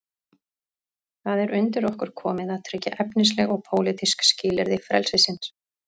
Það er undir okkur komið að tryggja efnisleg og pólitísk skilyrði frelsisins.